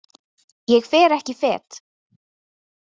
Ég fer ekki fet.